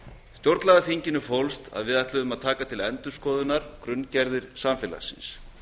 stjórnlagaþinginu fólst að við ætluðum að taka til endurskoðunar grunngerðir samfélagsins